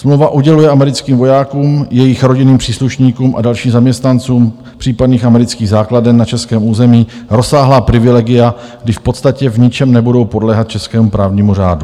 Smlouva uděluje americkým vojákům, jejich rodinným příslušníkům a dalším zaměstnancům případných amerických základen na českém území rozsáhlá privilegia, kdy v podstatě v ničem nebudou podléhat českému právnímu řádu.